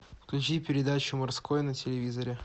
включи передачу морской на телевизоре